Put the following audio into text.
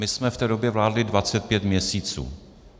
My jsme v té době vládli 25 měsíců.